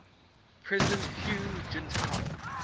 president hu jintao